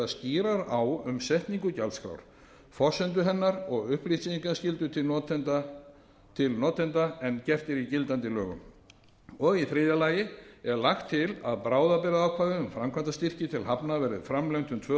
skýrar á um setningu gjaldskrár forsendur hennar og upplýsingaskyldu til notenda en gert er í gildandi lögum í þriðja lagi er lagt til að bráðabirgðaákvæði um framkvæmdastyrki til hafna verði framlengt um tvö ár meðal annars